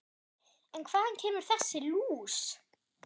En hvaðan kemur þessi lús?